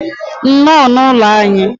nnọọ n'ụlọ anyị.